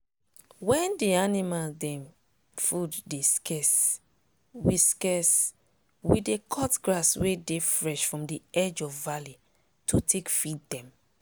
wen d animal dem food dey scarce we scarce we dey cut grass wey dey fresh from d edge of valley to take feed dem.